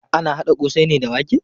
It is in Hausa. Ana haɗa ƙosai ne da wake.